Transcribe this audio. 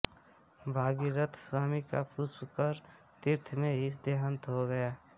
भगीरथ स्वामी का पुष्कर तीर्थ में ही देहांत हो गया